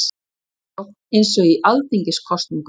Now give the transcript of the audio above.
Kjörsókn eins og í alþingiskosningum